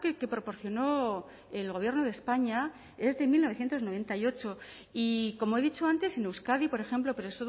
que proporcionó el gobierno de españa es de mil novecientos noventa y ocho y como he dicho antes en euskadi por ejemplo pero